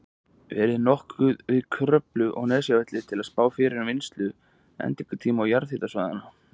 verið notuð við Kröflu og Nesjavelli til að spá fyrir um vinnslu á endingartíma jarðhitasvæðanna.